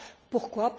Pourquoi?